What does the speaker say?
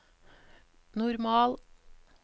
normal